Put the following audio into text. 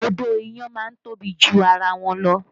Odó iyán má ń tóbi ju ara wọn lọ